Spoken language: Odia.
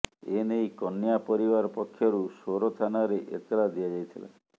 ଏନେଇ କନ୍ୟା ପରିବାର ପକ୍ଷରୁ ସୋର ଥାନାରେ ଏତଲା ଦିଆଯାଇଥିଲା